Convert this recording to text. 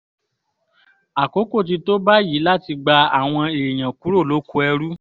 àkókò ti tó báyìí láti gba àwọn èèyàn kúrò lóko ẹrú